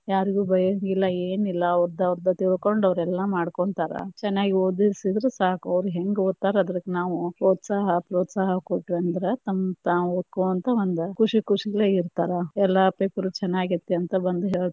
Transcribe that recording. ಯಾರಿಗೂ ಬೈಯಂಗಿಲ್ಲಾ ಏನಿಲ್ಲಾ ಅವ್ರದ ಅವ್ರ ತಿಳ್ಕೊಂಡ ಅವ್ರ ಎಲ್ಲಾ ಮಾಡ್ಕೊಂತಾರ ಚನ್ನಾಗಿ ಒದಿಸಿದರ ಸಾಕ, ಅವ್ರಿಗೆ ಹೆಂಗ ಓದತಾರ ಅದಕ್ಕ ನಾವು ಒದಸಕ್ಕ ಪ್ರೋತ್ಸಾಹ ಕೊಟ್ಟಿವಿ ಅಂತಂದ್ರ ತಮದ ತಾವ ಓದ್ಕೊಂತ ಖುಷಿ ಖುಷಿಲೇ ಇರ್ತಾರ, ಎಲ್ಲಾ ಪೇಪರು ಚನ್ನಾಗಿ ಆಗೇತಿ ಅಂತ ಬಂದ ಹೇಳ್ತಾರಾ.